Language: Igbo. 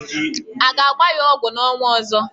A ga-agba ya ọgwụ n'ọnwa ọzọ.